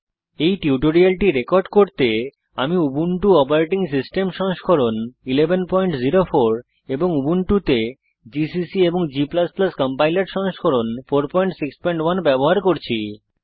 এই টিউটোরিয়ালটি রেকর্ড করতে আমি উবুন্টু অপারেটিং সিস্টেম সংস্করণ 1104 এবং উবুন্টুতে জিসিসি এবং g কম্পাইলার সংস্করণ 461 ব্যবহার করছি